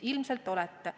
Ilmselt olete.